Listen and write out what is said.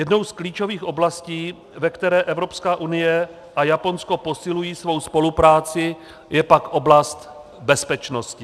Jednou z klíčových oblastí, ve které Evropská unie a Japonsko posilují svou spolupráci, je pak oblast bezpečnosti.